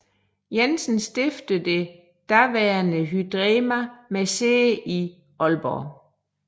Jensen stiftede det daværende Hydrema med sæde i Aalborg